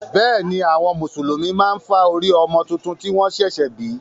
Bẹ́ẹ̀ ni, àwọn Mùsùlùmí máa ń fá orí ọmọ tuntun tí wọ́n ṣẹ̀ṣẹ̀ bí.